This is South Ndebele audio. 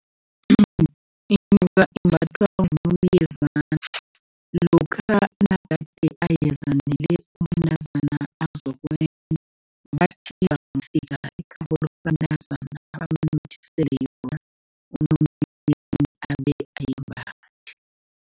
Inyoka imbathwa ngunomyezana lokha nagade ayezanele umntazana azokwenda, bathi bangafika ekhabo lomntanaza, amnothisele yona ayimbathe.